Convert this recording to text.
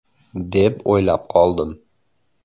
– deb o‘ylab qoldim.